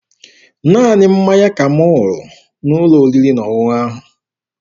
Naanị mmanya ka m ṅụrụ n'ụlọ oriri na ọṅụṅụ ahụ.